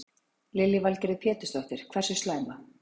Lillý Valgerður Pétursdóttir: Hversu slæma?